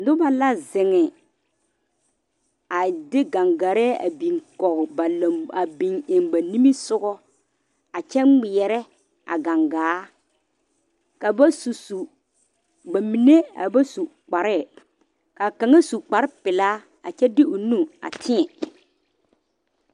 Noba la zeŋ a de gangare a biŋ kɔge ba lanbo a biŋ eŋ ba niŋe sogɔ a kyɛ ŋmeɛrɛ a gangaa ka ba su su ba mine a ba su kparɛ ka kaŋa su kpare pelaa a kyɛ de o nu a tie.